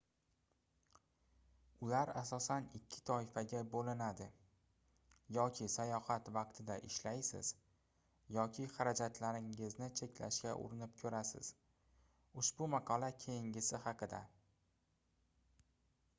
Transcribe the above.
ular asosan ikki toifaga boʻlinadi yoki sayohat vaqtida ishlaysiz yoki xarajatlaringizni cheklashga urinib koʻrasiz ushbu maqola keyingisi haqida